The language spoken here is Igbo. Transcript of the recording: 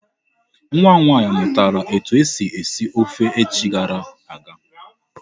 Nwa m nwaanyị mụtara etu esi esi ofe echi gara aga.